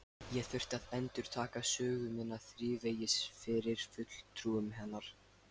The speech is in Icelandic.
Ég þurfti að endurtaka sögu mína þrívegis fyrir fulltrúum hennar.